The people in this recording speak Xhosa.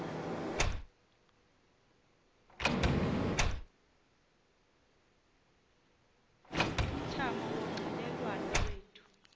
umthamo wonxielelwano lwethu